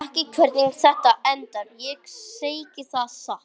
Ég veit ekki hvernig þetta endar, ég segi það satt.